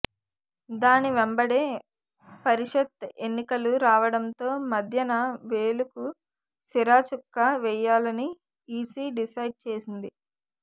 దాని వెంబడే పరిషత్ ఎన్నికలు రావడంతో మధ్యన వేలుకు సిరాచుక్క వేయాలని ఈసీ డిసైడ్ చేసింది